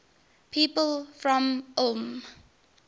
people from ulm